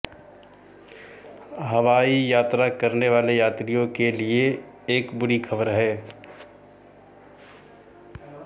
हवाई यात्रा करने वाले यात्रियों के लिए एक बुरी खबर है